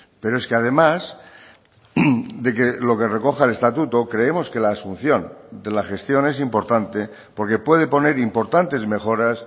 pero es que además de que lo que recoja el estatuto creemos que la asunción de la gestión es importante porque puede poner importantes mejoras